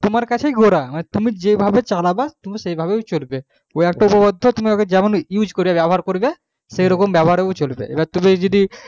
তোমার কাছেই গোড়া মানে তুমি যে চালাবা তুমি সেই ভাবে চলবে ওই একটাই উপপাদ্য তুমি এবার যেমন use করবা ব্যবহার করবা সেইরকম ব্যবহারে ওঁ চলবে এবার তুমি যদি